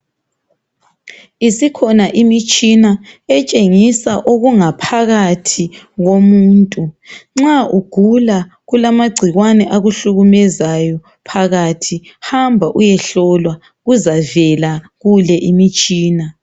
Isikhona imitshina etshengisa okungaphakathi komuntu. Nxa ugula kulamagcikwane, akuhlukumezayo phakathi .Hamba uyehlolwa. Kuzavela kule imitshina